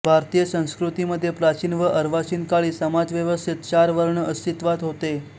भारतीय संस्कृती मध्ये प्राचीन व अर्वाचीन काळी समाजव्यवस्थेत चार वर्ण अस्तित्वात होते